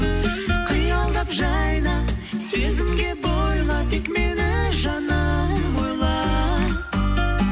қиялдап жайна сезімге бойла тек мені жаным ойла